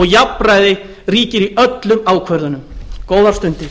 jafnræði ríkir í öllum ákvörðunum góðar stundir